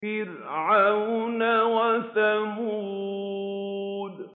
فِرْعَوْنَ وَثَمُودَ